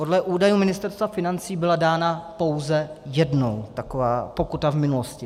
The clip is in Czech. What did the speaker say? Podle údajů Ministerstva financí byla dána pouze jednou taková pokuta v minulosti.